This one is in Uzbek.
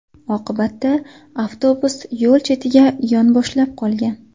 Oqibatda avtobus yo‘l chetiga yonboshlab qolgan.